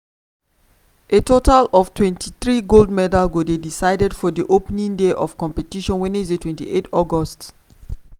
a total of twenty three gold medals go dey decided for di opening day of competition wednesday twenty eight august.